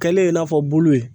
Kɛlen i n'a fɔ bulu